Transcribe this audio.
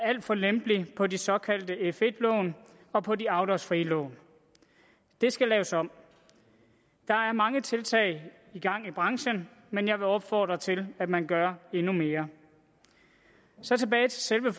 alt for lempelig på de såkaldte f1 lån og på de afdragsfrie lån det skal laves om der er mange tiltag i gang i branchen men jeg vil opfordre til at man gør endnu mere så tilbage til selve